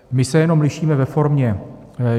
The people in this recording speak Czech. My se jenom lišíme ve formě.